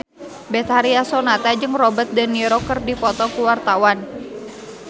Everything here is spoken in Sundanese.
Betharia Sonata jeung Robert de Niro keur dipoto ku wartawan